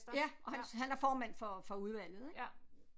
Ja og han han er formand for for udvalget ik